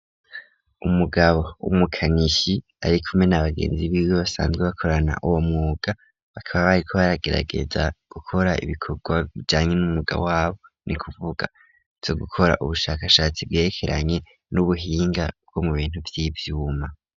Umugabo 'umukanishi ari kume n'abagenzi biwe basanzwe bakorana uwo mwuga bakaba bayi ko baragerageza gukora ibikorwa vyanye n'umugabo wabo ni kuvuga co gukora ubushakashatsi bwerekeranye n'ubuhinga bwo mu bintu vy'ivyuma.